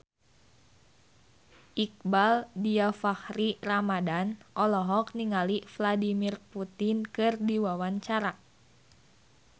Iqbaal Dhiafakhri Ramadhan olohok ningali Vladimir Putin keur diwawancara